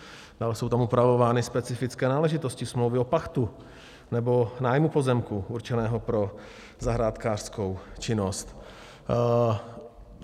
Dále jsou tam upravovány specifické náležitosti smlouvy o pachtu nebo nájmu pozemku určeného pro zahrádkářskou činnost.